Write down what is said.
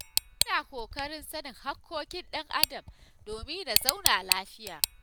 Ina ƙoƙarin sanin haƙƙoƙin ɗan Adam domin na zauna lafiya.